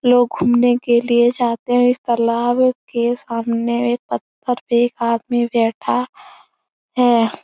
लोग घूमने के लिए जाते हैं। इस तलाब के सामने एक पत्थर पे एक आदमी बैठा है।